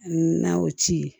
N'a y'o ci